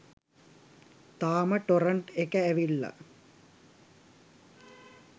තාම ටොරන්ට් එක ඇවිල්ලා